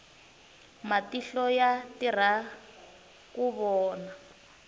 matihlo ya tirha ku vona